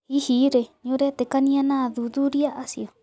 Hihi rĩĩ nĩũraĩtĩkanĩana athuthurĩa açĩo